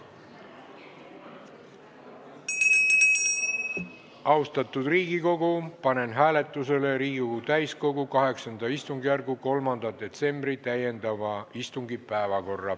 Austatud Riigikogu, panen hääletusele Riigikogu täiskogu VIII istungjärgu 3. detsembri täiendava istungi päevakorra.